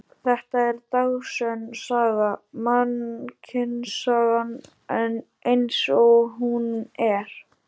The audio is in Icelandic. Þetta er dagsönn saga, mannkynssagan eins og hún er.